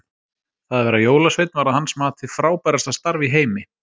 Það að vera jólasveinn var að hans mati, frábærasta starf í heimi.